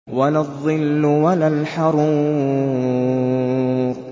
وَلَا الظِّلُّ وَلَا الْحَرُورُ